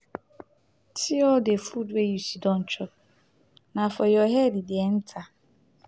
see all the food wey you sit down chop na for your head e dey enter.